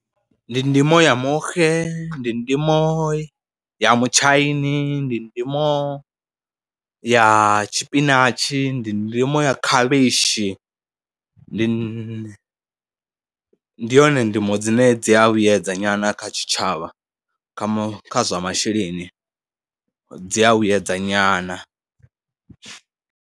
Ndi ndimo ya muxe, ndi ndimo ya mutshaini, ndi ndimo ya tshipinatshi, ndi ndimo ya khavhishi, ndi, ndi yone ndimo dzine dzi a vhuyedza nyana kha tshitshavha kha kha zwa masheleni, dzi a vhuyedza nyana.